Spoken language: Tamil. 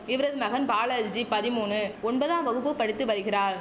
இவரது நவன் பாலர்ஜி பதிமூணு ஒன்பதாம் வகுப்பு படித்து வருகிறார்